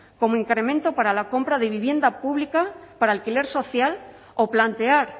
como incremento para la compra de vivienda pública para alquiler social o plantear